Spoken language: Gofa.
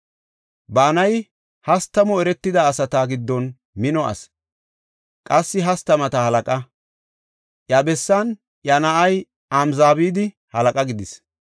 Banayi hastamu eretida asata giddon mino asi; qassi hastamata halaqa. Iya bessan iya na7ay Amzabadi halaqa gidis.